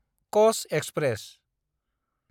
Kach express